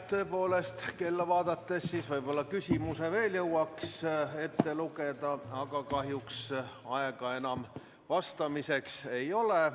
Tõepoolest, kui kella vaadata, siis võib-olla ühe küsimuse veel jõuaks ette lugeda, aga kahjuks aega vastamiseks enam ei ole.